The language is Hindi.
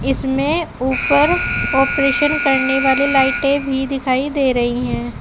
इसमें ऊपर ऑपरेशन करने वाली लाइटे भी दिखाई दे रही हैं।